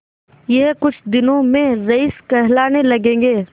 यह कुछ दिनों में रईस कहलाने लगेंगे